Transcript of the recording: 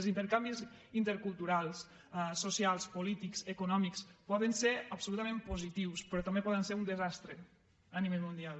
els intercanvis interculturals socials polítics econòmics poden ser absolutament positius però també poden ser un desastre a nivell mundial